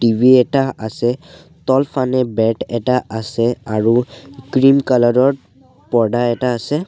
TV এটা আছে তলফানে বেড এটা আছে আৰু ক্ৰীম কালাৰ ৰ পৰ্দা এটা আছে।